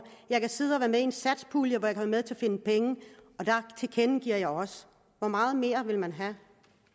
jeg kan sidde og være med i en satspuljeaftale med til at finde penge og det tilkendegiver jeg også hvor meget mere vil man have